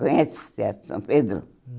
Conhece os teatros de São Pedro?